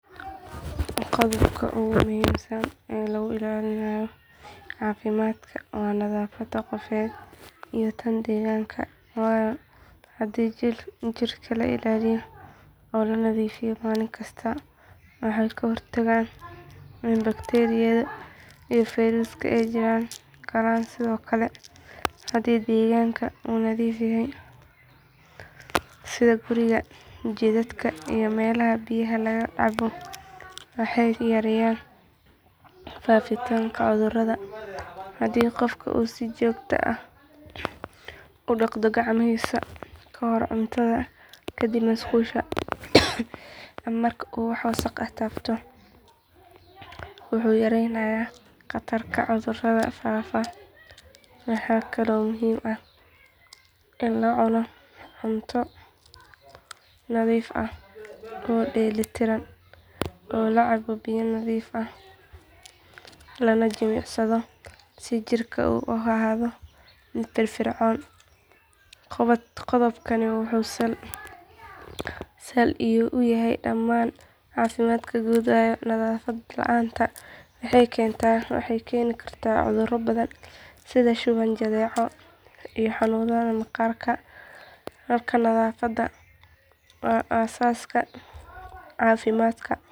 Qodobka ugu muhiimsan ee lagu ilaalinayo caafimaadka waa nadaafadda qofeed iyo tan deegaanka waayo haddii jirka la ilaaliyo oo la nadiifiyo maalin kasta waxay ka hortagtaa in bakteeriyada iyo fayrasku ay jirka galaan sidoo kale haddii deegaanka uu nadiif yahay sida guriga jidadka iyo meelaha biyaha laga cabo waxay yareynayaan faafitaanka cudurrada haddii qofka uu si joogto ah u dhaqdo gacmihiisa ka hor cuntada kadib musqusha ama marka uu wax wasakh ah taabto wuxuu yareynayaa khatarta cudurrada faafa waxaa kaloo muhiim ah in la cuno cunto nadiif ah oo dheelitiran la cabo biyo nadiif ah lana jimicsado si jirka u ahaado firfircoon qodobkani wuxuu sal u yahay dhammaan caafimaadka guud waayo nadaafad la’aan waxay keeni kartaa cudurro badan sida shuban jadeeco iyo xanuunada maqaarka markaa nadaafadda waa aasaaska caafimaadka.